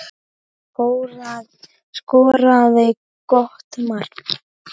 Skoraði gott mark.